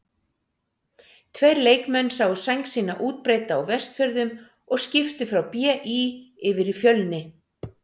Tveir leikmenn sáu sæng sína útbreidda á Vestfjörðum og skiptu frá BÍ yfir í Fjölni.